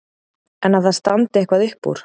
En að það standi eitthvað upp úr?